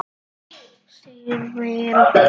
Sif mín!